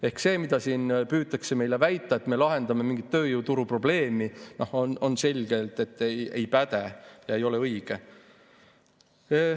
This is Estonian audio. Ehk see, mida siin püütakse väita, et me lahendame mingit tööjõuturu probleemi, selgelt ei päde, see ei ole õige.